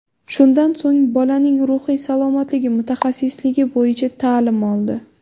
Shundan so‘ng Bolaning ruhiy salomatligi mutaxassisligi bo‘yicha ta’lim oldi.